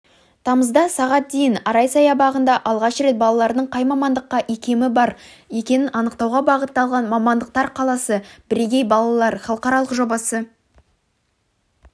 тамызда сағат дейін арай саябағында алғаш рет балалардың қай мамандыққа иекемі бар екенін анықтауға бағытталған мамандықтар қаласы бірегей балалар халықаралық жобасы